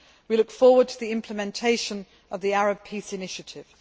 We look forward to the implementation of the Arab Peace Initiative.